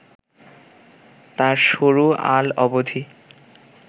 তার সরু আল অবধি